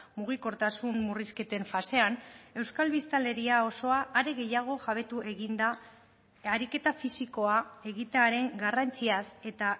mugikortasun murrizketen fasean euskal biztanleria osoa are gehiago jabetu eginda ariketa fisikoa egitearen garrantziaz eta